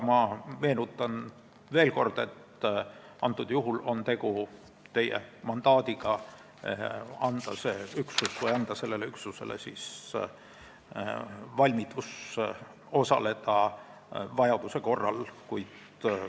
Ma meenutan veel kord, et tegu on teie mandaadiga anda sellele üksusele valmidus vajaduse korral operatsioonil osaleda.